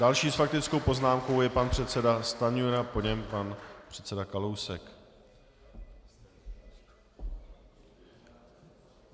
Další s faktickou poznámkou je pan předseda Stanjura, po něm pan předseda Kalousek.